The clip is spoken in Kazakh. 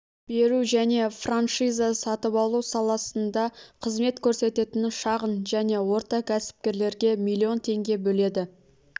беру және франшиза сатып алу саласында қызмет көрсететін шағын және орта кәсіпкерлерге млн теңге бөледі